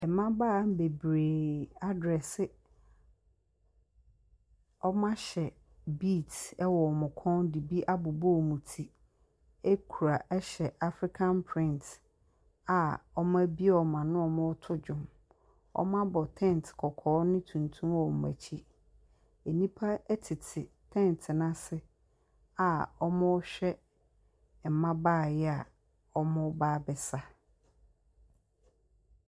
Ɛmabaawa bebree adrɛse, ɔmo ahyɛ bids ɛwɔ ɔmo kɔn de bi abobɔ ɔmo ti ɛhyɛ afrekan prent a ɔmo abie ɔmo ano ɔmoo to dwom. Ɔmo abɔ tɛnt kɔkɔɔ ne tuntum wɔ ɔmo akyi. Enipa ɛtete tɛnt n'ase a ɔmoo hwɛ ɛmabaawa yi ɔmoo ba abɛsa.